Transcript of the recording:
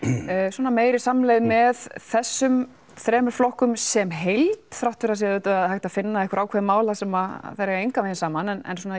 svona meiri samleið með þessum þremur flokkum sem heild þrátt fyrir að það sé auðvitað hægt að finna einhver ákveðin mál þar sem þau eiga engan vegin saman en